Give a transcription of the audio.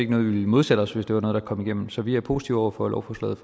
noget vi ville modsætte os hvis det var noget der kom igennem så vi er positive over for lovforslaget